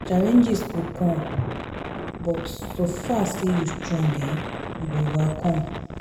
Challenges go come but so far say you strong, um you go overcome